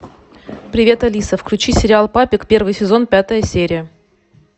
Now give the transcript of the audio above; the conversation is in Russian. привет алиса включи сериал папик первый сезон пятая серия